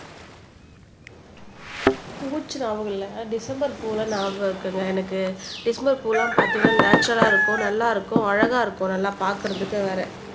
பூச்சி நியாபகம் இல்ல டிசம்பர் பூ நியாபகம் இருக்குங்க எனக்கு டிசம்பர் பூ எல்லாம் பாத்தீங்கன்னா நேச்சரல்லா இருக்கும் நல்லா இருக்கும் அழகா இருக்கும் நல்லா பாக்குறதுக்கே வேற